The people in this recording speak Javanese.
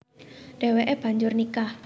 Déwéké banjur nikah